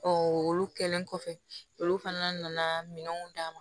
olu kɛlen kɔfɛ olu fana nana minɛnw d'a ma